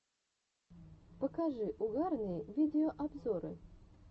покажи угарные видеообзоры